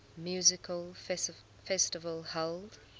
music festival held